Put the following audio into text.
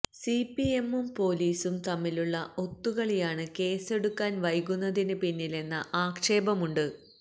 സിപിഎമ്മും പോലീസും തമ്മിലുള്ള ഒത്തുകളിയാണ് കേസെടുക്കാന് വൈകുന്നതിന് പിന്നിലെന്ന ആക്ഷേപമുണ്ട്